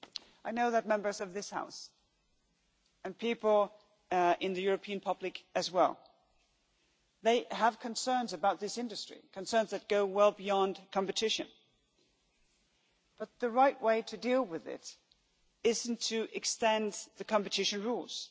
I know that Members of this House and people in the European public as well have concerns about this industry concerns that go well beyond competition, but the right way to deal with it is not to extend the competition rules